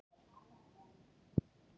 Að vera þunnur á vangann